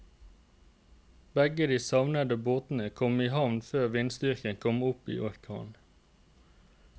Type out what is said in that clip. Begge de savnede båtene kom i havn før vindstyrken kom opp i orkan.